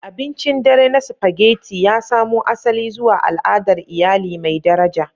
Abincin dare na Spaghetti ya samo asali zuwa al'adar iyali mai daraja.